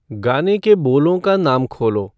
गाने के बोलों का नाम खोलो